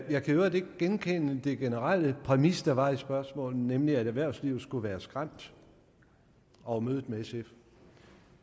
jeg kan i øvrigt ikke genkende den generelle præmis der var for spørgsmålet nemlig at erhvervslivet skulle være skræmt over mødet med sf